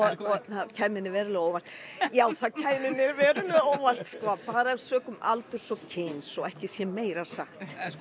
það kæmi nú verulega á óvart já það kæmi mér verulega á óvart sko bara sökum aldurs og kyns svo ekki sé meira sagt